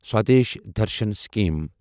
Swadesh Darshan scheme